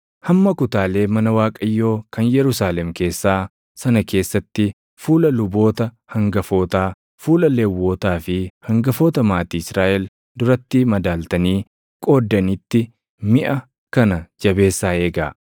Hamma kutaalee mana Waaqayyoo kan Yerusaalem keessaa sana keessatti fuula luboota hangafootaa, fuula Lewwotaa fi hangafoota maatii Israaʼel duratti madaaltanii qooddanitti miʼa kana jabeessaa eegaa.”